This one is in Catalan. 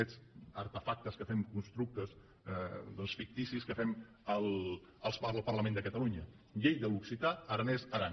aquests artefactes que fem constructes ficticis que fem al parlament de catalunya llei de l’occità aranès aran